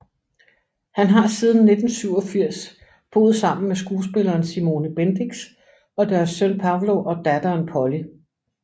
Han har siden 1987 boet sammen med skuespilleren Simone Bendix og deres søn Pablo og datteren Polly